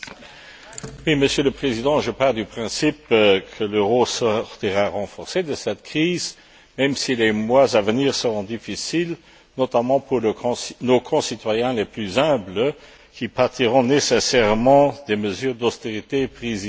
Monsieur le Président, je pars du principe que l'euro sortira renforcé de cette crise, même si les mois à venir seront difficiles, notamment pour nos concitoyens les plus humbles, qui pâtiront nécessairement des mesures d'austérité prises ici ou là.